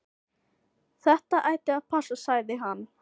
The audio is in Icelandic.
Þetta ætti að passa, sagði hann.